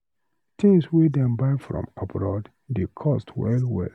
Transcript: Tins wey dem buy from abroad dey cost well well.